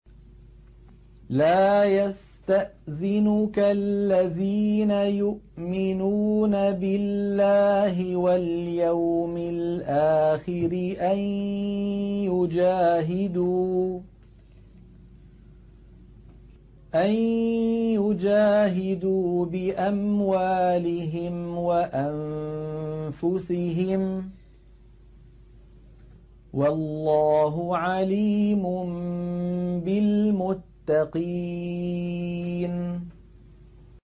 لَا يَسْتَأْذِنُكَ الَّذِينَ يُؤْمِنُونَ بِاللَّهِ وَالْيَوْمِ الْآخِرِ أَن يُجَاهِدُوا بِأَمْوَالِهِمْ وَأَنفُسِهِمْ ۗ وَاللَّهُ عَلِيمٌ بِالْمُتَّقِينَ